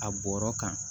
A bɔra kan